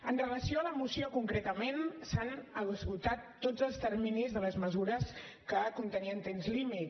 amb relació a la moció concretament s’han esgotat tots els terminis de les mesures que contenien temps límit